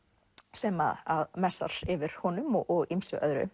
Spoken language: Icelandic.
sem að messar yfir honum og ýmsu öðru